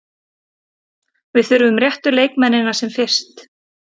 Við þurfum réttu leikmennina sem fyrst.